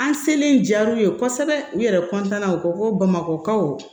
An selen jar'u ye kosɛbɛ u yɛrɛ na u ko ko bamakɔkaw